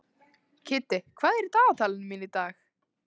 Kiddi, hvað er í dagatalinu mínu í dag?